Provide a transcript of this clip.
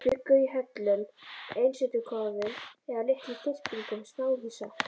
Þeir bjuggu í hellum, einsetukofum eða litlum þyrpingum smáhýsa.